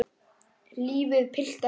Lífið, piltar, lífið.